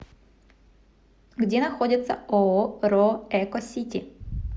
где находится ооо ро эко сити